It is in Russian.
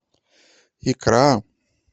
икра